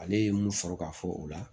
Ale ye mun sɔrɔ ka fɔ o la